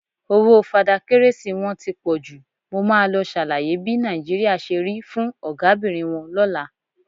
Owó Fada Kérésì wọn ti pọ jù, mo máa lọ ṣàlàyé bí Nàìjíríà ṣe rí fún Ọ̀gábìnrin wọn lọ́la.